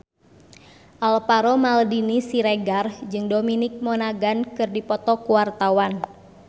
Alvaro Maldini Siregar jeung Dominic Monaghan keur dipoto ku wartawan